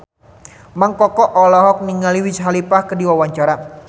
Mang Koko olohok ningali Wiz Khalifa keur diwawancara